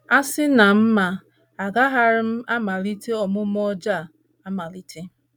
A sị na m ma, agaraghị m amalite omume ọjọọ a amalite.